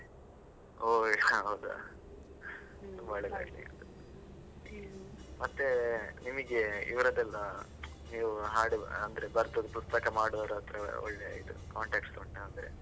ಒಹ್ ಹೌದಾ. ಒಳ್ಳೆದಾಗಲಿ, ಮತ್ತೆ ನಿಮಗೆ ಇವರದೆಲ್ಲ ನೀವು ಹಾಡುವ ಅಂದ್ರೆ ಬರೆದದ್ದು ಪುಸ್ತಕ ಮಾಡುವವರತ್ರ ಎಲ್ಲ ಒಳ್ಳೆ ಇದು contacts ಉಂಟಾ ಅಂದ್ರೆ?